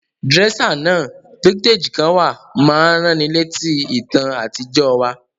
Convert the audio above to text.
Dresser náà, vintage kan wa, ma n raniletí ìtàn àtijọ́ wa